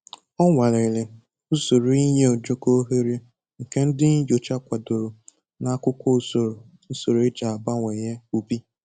Ọ nwalere usoro inye ojoko ohere nke ndi nyocha kwadoro n'akwụkwọ usoro usoro e ji abawanye ubi